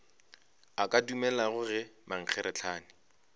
a ka dumelago ge mankgeretlana